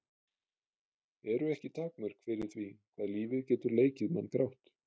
Eru ekki takmörk fyrir því hvað lífið getur leikið mann grátt?